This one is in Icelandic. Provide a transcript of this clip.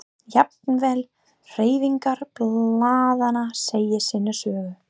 Jafnvel hreyfingar blaðanna segja sína sögu.